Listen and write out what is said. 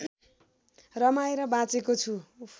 रमाएर बाँचेको छु